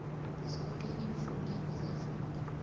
zoke iimfuneko zefundo